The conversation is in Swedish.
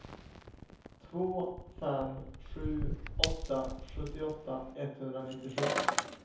två fem sju åtta sjuttioåtta etthundranittiosju